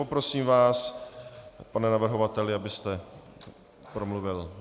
Poprosím vás, pane navrhovateli, abyste promluvil.